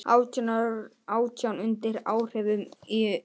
Átján undir áhrifum í umferðinni